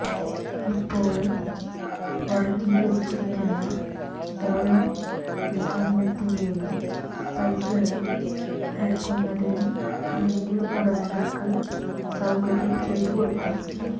ഇപ്പോള് വര്ഗീകരിച്ചിരിക്കുന്ന ഓരോ മാവിനത്തിന്റെയും തൈകള് വില്ക്കുന്നതിന് അതിന്റെ ഉടമകള്ക്ക് സൌകര്യം ചെയ്തുകൊടുക്കും